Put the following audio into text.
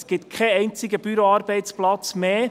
Es gibt keinen einzigen Büroarbeitsplatz mehr.